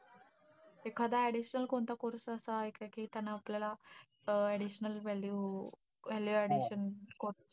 एखादा additional कोणता course असा आहे का, कि त्यानं आपल्याला अं additional value~ value additional course.